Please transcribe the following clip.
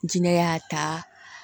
N jinɛ y'a ta